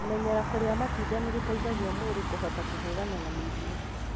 Kũmenyera kũrĩa matunda nĩgũteithagia mwĩrĩ kũhota kũhũrana na mĩrimũ.